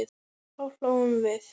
Þá hlógum við.